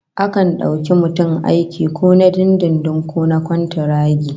Akan dauki mutum aiki ko na dindindin ko na kwantaragi